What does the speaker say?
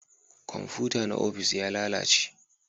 Komfuta na ofis ya lalace